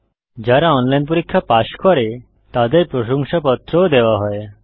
যারা অনলাইন পরীক্ষা পাস করে তাদের প্রশংসাপত্র সার্টিফিকেট ও দেওয়া হয়